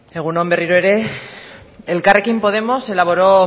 egun on berriro ere elkarrekin podemos elaboró